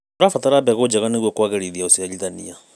Tũrabatara mbegũ njega nĩguo kũagĩrithia ũciarithania.